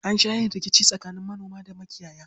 An sha yin rikici tsakanin manoma da makiyaya.